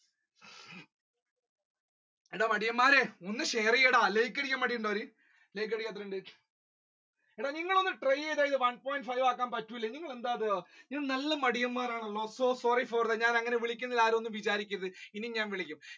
എടാ മടിയന്മാരെ ഒന്ന് share ചെയ്യടാ like അടിക്കാൻ മടി ഉണ്ടോ like അടിക്കാൻ എത്രയുണ്ട് എടാ നിങ്ങൾ ഒന്ന് try ചെയ്ത one point five ആക്കാൻ പറ്റൂലെ നിങ്ങൾ എന്താ ഇത് നല്ല മടിയന്മാർ ആണല്ലോ so sorry for that അങ്ങനെ വിളിക്കുന്നതിൽ ആര് ഒന്നും വിചാരിക്കരുത് ഇന്നിം ഞാൻ വിളിക്കും.